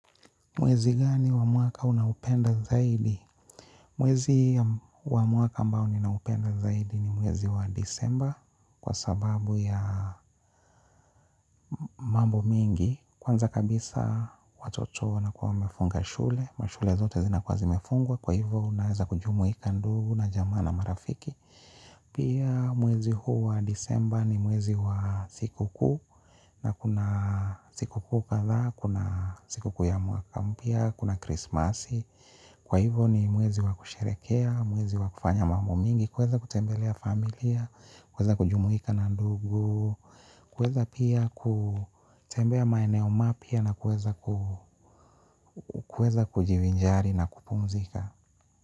Mwezi gani wa mwaka unaupenda zaidi? Mwezi wa mwaka ambao naupenda zaidi ni mwezi wa disemba kwa sababu ya mambo mingi. Kwanza kabisa watoto wanakuwa wamefunga shule. Mashule zote zinakuwa zimefungwa kwa hivyo naweza kujumuika ndugu na jamaa na marafiki. Pia mwezi huu wa disemba ni mwezi wa sikukuu na kuna sikukuu kadhaa, kuna sikukuu ya mwaka. Kwa hivyo ni mwezi wa kusherekea, mwezi wa kufanya mambo mingi, kuweza kutembelea familia, kuweza kujumuika na ndugu, kuweza pia kutembea maeneo mapya na kuweza kujivinjari na kupumzika.